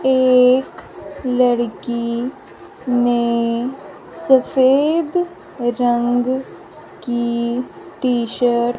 एक लड़की ने सफेद रंग की टी शर्ट --